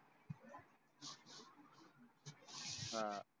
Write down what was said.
हा